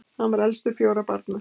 hann var elstur fjögurra barna